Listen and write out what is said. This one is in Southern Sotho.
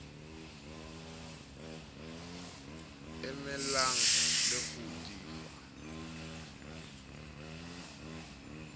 emelang le ho di fa